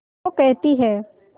वो कहती हैं